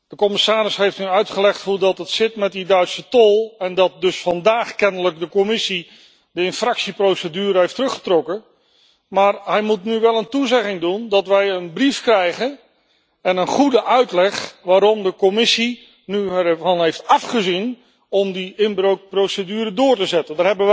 De commissaris heeft nu uitgelegd hoe het zit met die Duitse tol en dat dus vandaag kennelijk de Commissie de infractieprocedure heeft teruggetrokken, maar hij moet nu wel een toezegging doen dat wij een brief krijgen en een goede uitleg waarom de Commissie er nu van heeft afgezien om die inbreukprocedure door te zetten.